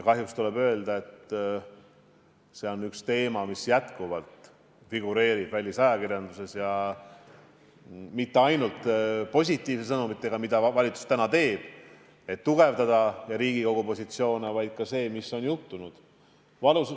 Kahjuks tuleb öelda, et see on teema, mis jätkuvalt figureerib välisajakirjanduses, kusjuures ei ole tegu mitte ainult positiivsete sõnumitega, mida valitsus täna teeb, et tugevdada riigi positsioone, vaid ka infoga, mis on juhtunud.